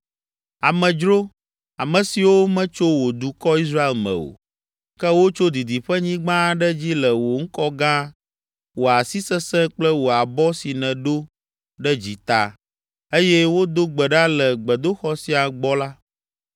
“Amedzro, ame siwo metso wò dukɔ, Israel me o, ke wotso didiƒenyigba aɖe dzi le wò ŋkɔ gã, wò asi sesẽ kple wò abɔ si nèdo ɖe dzi ta, eye wodo gbe ɖa le gbedoxɔ sia gbɔ la,